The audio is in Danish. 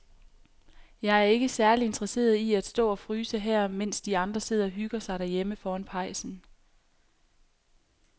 Jeg er ikke særlig interesseret i at stå og fryse her, mens de andre sidder og hygger sig derhjemme foran pejsen.